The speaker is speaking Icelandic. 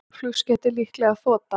Flugskeytið líklega þota